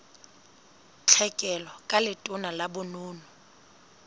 tlhekelo ka letona la bonono